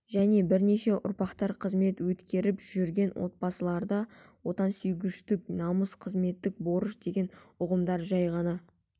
және бірнеше ұрпақтар қызмет өткеріп жүрген отбасыларда отансүйгіштік намыс қызметтік борыш деген ұғымдар жай ғана